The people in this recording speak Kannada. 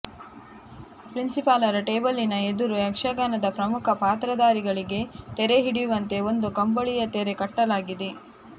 ಪ್ರಿನ್ಸಿಪಾಲರ ಟೇಬಲ್ಲಿನ ಎದುರು ಯಕ್ಷಗಾನದ ಪ್ರಮುಖ ಪಾತ್ರಧಾರಿಗಳಿಗೆ ತೆರೆ ಹಿಡಿಯುವಂತೆ ಒಂದು ಕಂಬಳಿಯ ತೆರೆ ಕಟ್ಟಲಾಗಿದೆ